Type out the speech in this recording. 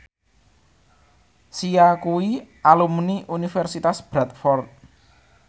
Sia kuwi alumni Universitas Bradford